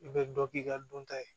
I bɛ dɔ k'i ka dɔn ta ye